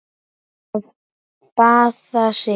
Að baða sig.